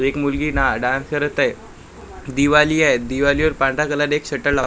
एक मुलगी ना डान्स करत आहे. दिवाल ही आहे दिवाली वर पांढऱ्या कलर एक शटर --